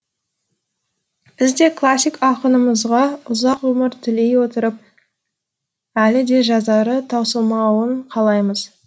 біз де классик ақынымызға ұзақ ғұмыр тілей отырып әлі де жазары таусылмауын қалаймыз